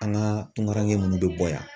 An ka tungaɲɛ munnu bɛ bɔ yan